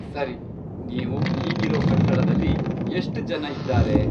ಸರಿ, ನೀವು ಈಗಿರೋ ಕಟ್ಟಡದಲ್ಲಿ ಎಷ್ಟ್ ಜನ ಇದ್ದಾರೆ?